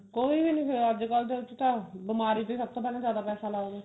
ਕੋਈ ਵੀ ਨਹੀਂ ਹੋਇਆ ਅੱਜਕਲ ਦੇ ਵਿੱਚ ਤਾਂ ਬਿਮਾਰੀ ਤੇ ਪਹਿਲਾਂ ਸਬ ਤੋਂ ਵੱਧ ਪੈਸਾ ਲਗਦਾ